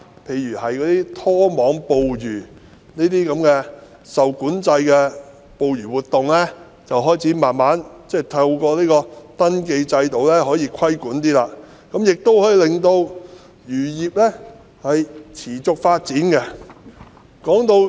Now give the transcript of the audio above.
其後，當局開始慢慢透過登記制度對例如拖網捕魚等受管制的捕魚活動稍作規管，亦可以令漁業持續發展。